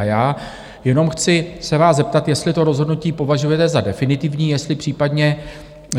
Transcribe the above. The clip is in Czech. A já jenom chci se vás zeptat, jestli to rozhodnutí považujete za definitivní, jestli případně